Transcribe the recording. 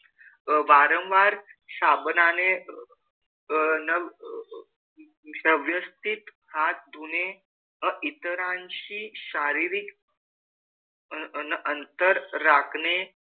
वारंवार साबणाने अह व्यवस्थित हात धुणे व इतरांशी शारिरीक अन अंतर राखणे,